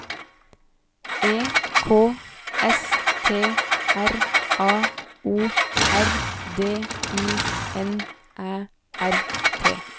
E K S T R A O R D I N Æ R T